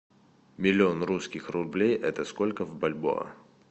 миллион русских рублей это сколько в бальбоа